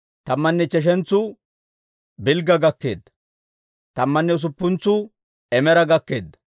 Tammanne ichcheshentsu Bilgga gakkeedda. Tammanne usuppuntsuu Imeera gakkeedda.